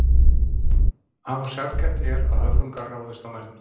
Afar sjaldgæft er að höfrungar ráðist á menn.